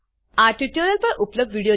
આ યુઆરએલ પર ઉપલબ્ધ વિડીયો નિહાળો